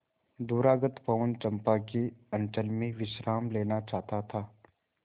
दूरागत पवन चंपा के अंचल में विश्राम लेना चाहता था